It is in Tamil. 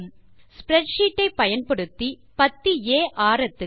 ஸ்ப்ரெட் ஷீட் ஐ பயன்படுத்தி பத்தி ஆ ஆரத்துக்கு